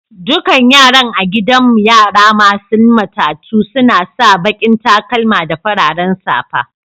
Dukan yaran a gidan yara masun matatu suna sa baki'n takalma da fararen safa.